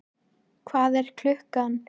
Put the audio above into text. Hvað er klukkan?